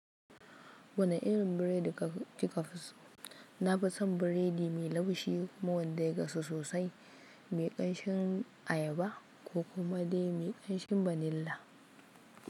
Wane irin biredi kika fi so? Na fi son biredi mai laushi kuma wanda ya gasu sosai, mai ƙamshin ayaba ko kuma dai mai ƙamshin vanilla.